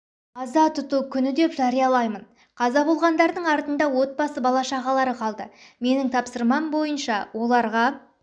аза тұту күні деп жариялаймын қаза болғандардың артында отбасы бала-шағалары қалды менің тапсырмам бойынша оларға